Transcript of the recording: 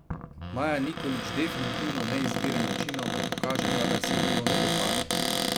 Maja Nikolić definitivno ne izbira načinov, da pokaže kadar se ji kdo ne dopade.